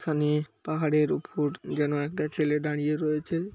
এখানে পাহাড়ের উপর যেন একটা ছেলে দাঁড়িয়ে রয়েছে।